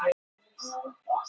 En hún fékk engin viðbrögð.